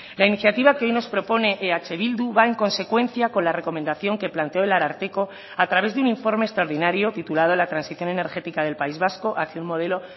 la iniciativa que hoy nos propone eh bildu va en consecuencia con la recomendación que planteó el ararteko a través de un informe extraordinario titulado la transición energética del país vasco hacia un modelo